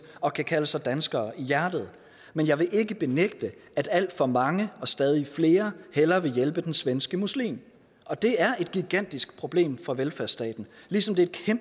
og kan kalde sig danskere i hjertet men jeg vil ikke benægte at alt for mange og stadig flere hellere vil hjælpe den svenske muslim og det er et gigantisk problem for velfærdsstaten ligesom det